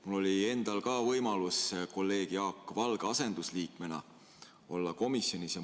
Mul oli endal ka võimalus kolleeg Jaak Valge asendusliikmena komisjonis olla.